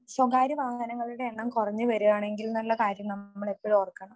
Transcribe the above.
സ്വകാര്യ വാഹനങ്ങളുടെ എണ്ണം കുറഞ്ഞു വരികയാണെങ്കിൽ എന്നുള്ള കാര്യം നമ്മൾ ഏപ്പോഴും ഓർക്കണം